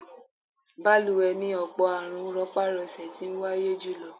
Balùwẹ̀ ni ọ̀pọ̀ àrùn rọpá-rọsẹ̀ ti wáyé jùlọ.